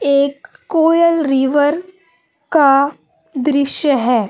एक कोयल रिवर का दृश्य है।